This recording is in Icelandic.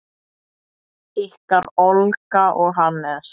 Ykkar Olga og Hannes.